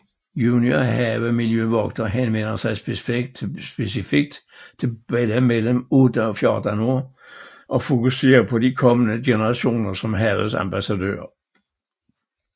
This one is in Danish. Juniorhavmiljøvogter henvender sig specifikt til børn mellem 8 og 14 år og fokuserer på de kommende generationer som havets ambassadører